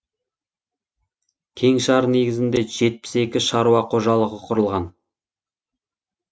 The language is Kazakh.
кеңшар негізінде жетпіс екі шаруа қожалығы құрылған